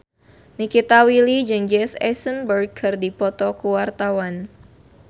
Nikita Willy jeung Jesse Eisenberg keur dipoto ku wartawan